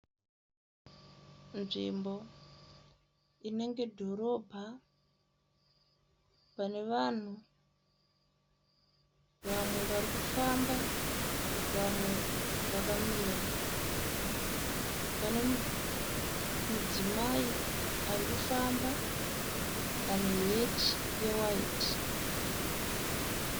Nzvimbo inenge dhorobha pane vanhu vamwe varikufamba vamwe vakamira. Pane madzimayi arikufamba ane heti ye waiti.